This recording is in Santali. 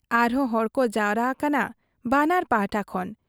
ᱟᱨᱦᱚᱸ ᱦᱚᱲᱠᱚ ᱡᱟᱣᱨᱟ ᱟᱠᱟᱱᱟ ᱵᱟᱱᱟᱨ ᱯᱟᱦᱴᱟ ᱠᱷᱚᱱ ᱾